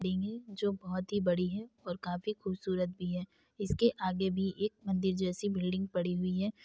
-- डिनगे जो बहोत ही बड़ी है और काफी खूबसूरत भी है इसके आगे भी एक मंदिर जैसी बिल्डिंग पड़ी हुई है।